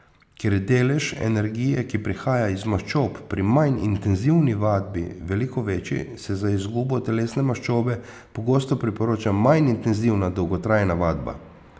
Ker je delež energije, ki prihaja iz maščob, pri manj intenzivni vadbi veliko večji, se za izgubo telesne maščobe pogosto priporoča manj intenzivna dolgotrajna vadba.